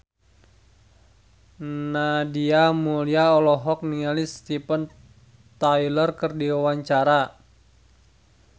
Nadia Mulya olohok ningali Steven Tyler keur diwawancara